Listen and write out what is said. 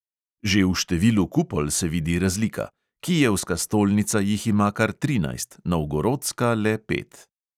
Že v številu kupol se vidi razlika: kijevska stolnica jih ima kar trinajst, novgorodska le pet.